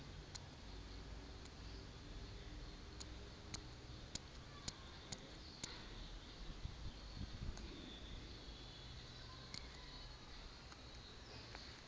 o a ntlhola ngwanaka ha